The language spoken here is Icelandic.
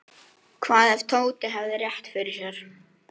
Indíra, hvað er jörðin stór?